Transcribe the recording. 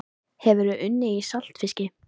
Hefurðu unnið í saltfiski?